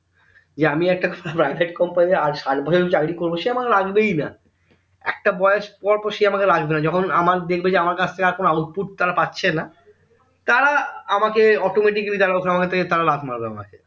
যে আমি একটা private company আজ ষাইট বছর যদি চাকরি করবো সে আমাকে রাখবেইনা একটা বয়স পর পর সে আমাকে রাখবেনা যখন আমার দেখবে যে আমার কাজ থেকে কোনো output তারা পাচ্ছেনা তারা আমাকে আমাকে automatic যারা ওখানে থাকে তারা লাদ মারবে আমায়